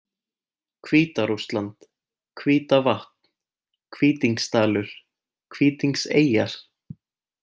Hvíta-Rússland, Hvítavatn, Hvítingsdalur, Hvítingseyjar